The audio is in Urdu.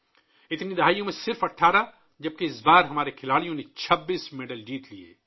ان تمام دہائیوں میں صرف 18 ، جب کہ اس بار ہمارے کھلاڑیوں نے 26 میڈلز جیتے ہیں